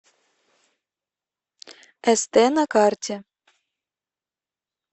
эстэ на карте